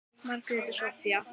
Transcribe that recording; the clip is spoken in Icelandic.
Margrét og Soffía.